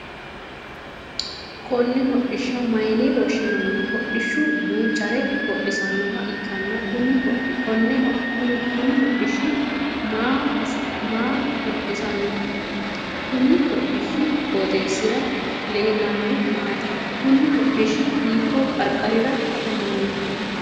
Konne hodhisha mayinne woshinnanni? Hodhishu duuchare hodhisanoha ikkanna kunni hodhishi maa hodhisano? Konni hodhishi qooxeesira leelanori maati? Kunni hodhishi hiiko qarqarirra afammano?